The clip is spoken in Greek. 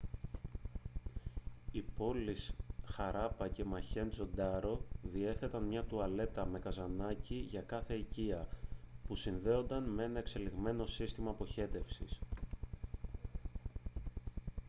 οι πόλεις χαράπα και μοχέντζο ντάρο διέθεταν μια τουαλέτα με καζανάκι για κάθε οικία που συνδεόταν με ένα εξελιγμένο σύστημα αποχέτευσης